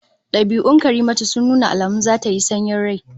Dabi'un Karimatu sun nuna alamun zata yi sanyin rai